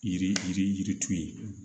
Yiri yiri yirituru ye